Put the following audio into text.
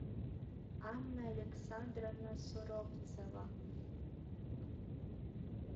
анна александровна суровцева